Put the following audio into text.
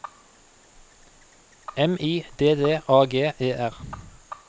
M I D D A G E R